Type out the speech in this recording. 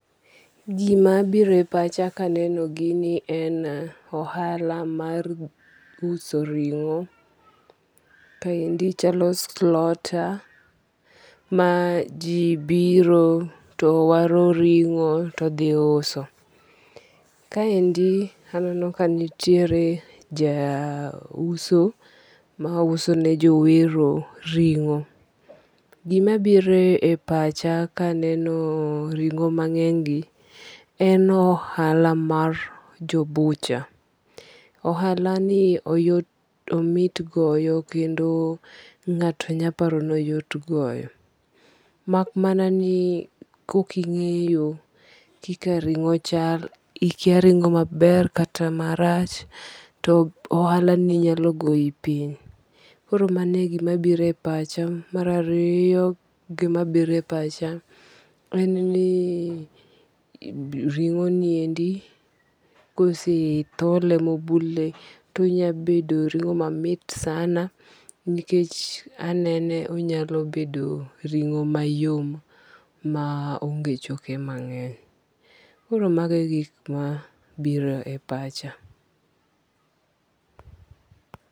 Gima biro e pacha kaneno gini en ohala mar uso ring'o. Kaendi chalo slota maji biro to waro ringo to dhi uso. Kaendi aneno kanitiere ja uso ma uso ne jowero ring'o. Gima biro e pacha kaneno ring'o mang'eny gi, en ohala mar jo bucha. Ohala ni omit goyo kendo ng'ato nyalo paro ni oyot goyo. Mak mana ni kok ing'eyo kika ring'o chal, ikia ring'o maber kata marach to ohala ni nyalo goyi piny. Koro mano e gima biro e pacha. Mar ariyo gima biro e pacha en ni ring'o niendi kose thole mobule to onyabedo ring'o mamit sana nikech anene onyalo bedo ring'o mayom am onge choke mang'eny. Koro mago e gik mabiro e pacha.